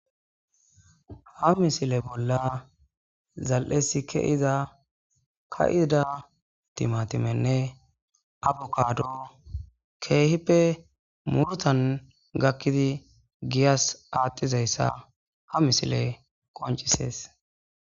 Ha misile bolla zali'es ke'ida ka'ida timatimenne abokado keehippe murutan gakid giyas adhizaysa ha misiley qoncises.